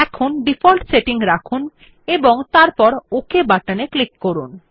তাই default setting রাখুন এবং তারপর ওক বাটনে ক্লিক করুন